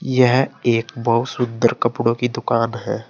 यह एक बहुत सुंदर कपड़ों की दुकान है।